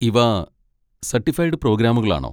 ഇവ സർട്ടിഫൈഡ് പ്രോഗ്രാമുകളാണോ?